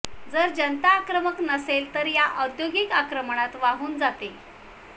जर जनता आक्रमण नसेल तर ती या औद्योगिक आक्रमणात वाहून जाते